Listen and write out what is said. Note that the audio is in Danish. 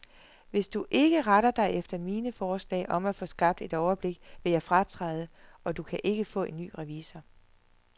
Hvis du ikke retter dig efter mine forslag om at få skabt et overblik, vil jeg fratræde, og du kan ikke få en ny revisor.